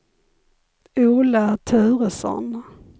Ola Turesson